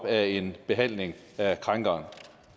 af en behandling af krænkeren